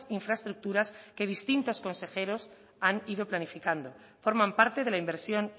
infraestructuras que distintos consejeros han ido planificando forman parte de la inversión